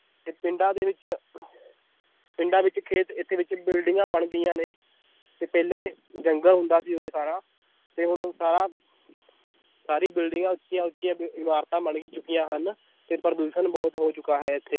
ਤੇ ਪਿੰਡਾਂ ਦੇ ਵਿੱਚ ਪਿੰਡਾਂ ਵਿੱਚ ਖੇਤ ਇੱਥੇ ਵਿੱਚ ਬਿਲਡਿੰਗਾਂ ਬਣ ਗਈਆਂ ਨੇ, ਤੇ ਪਹਿਲੇ ਜੰਗਲ ਹੁੰਦਾ ਸੀ ਉਰੇ ਸਾਰਾ ਤੇ ਹੁਣ ਸਾਰਾ ਸਾਰੀਆਂ ਬਿਲਡਿੰਗਾਂ ਉੱਚੀਆਂ ਉੱਚੀਆਂ ਇਮਾਰਤਾਂ ਬਣ ਚੁੱਕੀਆਂ ਹਨ, ਤੇ ਪ੍ਰਦੂਸ਼ਣ ਬਹੁਤ ਹੋ ਚੁੱਕਾ ਹੈ ਇੱਥੇ।